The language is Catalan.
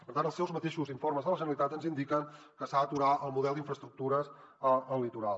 per tant els seus mateixos informes de la generalitat ens indiquen que s’ha d’aturar el model d’infraestructures al litoral